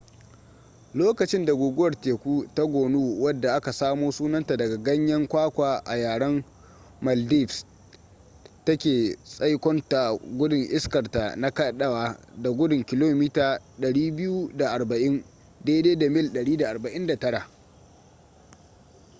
lokacin da guguwar teku ta gonu wadda aka samo sunanta daga ganyen kwakwa a yaren maldives take tsaikonta gudun iskarta na kadawa da gudun kilomita 240 mil 149